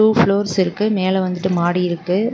Two floors இருக்கு மேல வந்துட்டு மாடி இருக்கு.